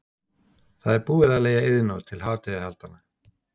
Það er búið að leigja Iðnó til hátíðahaldanna.